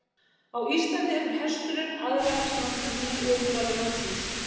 Á Íslandi hefur hesturinn aðlagast náttúrunni og úrvali mannsins.